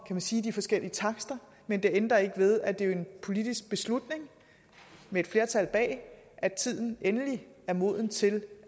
man sige de forskellige takster men det ændrer ikke ved at det er en politisk beslutning med et flertal bag at tiden endelig er moden til